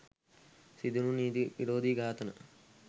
සිදුවුනු නීති විරෝධී ඝාතන